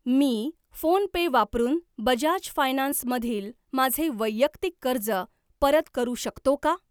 मी PhonePe वापरून Bajaj finance मधील माझे वैयक्तिक कर्ज परत करू शकतो का?